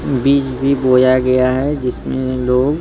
बीज भी बोया गया है जिसमें लोग--